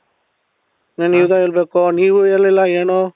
ನಾನೀಗ ಹೇಳ್ಬೇಕು ನೀವು ಹೇಳಲಿಲ್ಲ ಏನೂ?